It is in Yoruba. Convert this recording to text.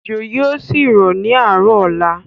Ójó yìí ó sì rọ̀ ni àárọ̀ ọ̀la.